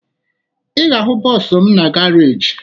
Ị ga-ahụ bọọsụ m na garaajị